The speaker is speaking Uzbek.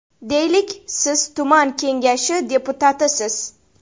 Deylik, siz tuman kengashi deputatisiz.